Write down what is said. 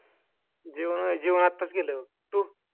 जेवण व्हयं जेवण आताच केलं. तू?